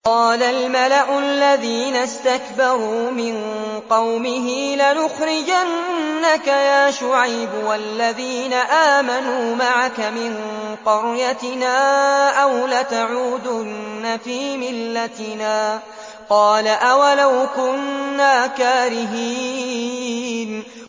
۞ قَالَ الْمَلَأُ الَّذِينَ اسْتَكْبَرُوا مِن قَوْمِهِ لَنُخْرِجَنَّكَ يَا شُعَيْبُ وَالَّذِينَ آمَنُوا مَعَكَ مِن قَرْيَتِنَا أَوْ لَتَعُودُنَّ فِي مِلَّتِنَا ۚ قَالَ أَوَلَوْ كُنَّا كَارِهِينَ